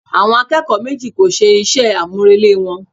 Àwọn akẹ́kọ̀ọ́ méjì kò ṣe iṣẹ́ àmúrelé wọn